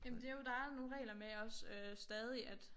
Jamen det jo der jo nogle regler med også stadig at